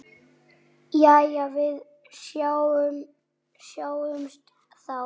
Jæja, við sjáumst þá.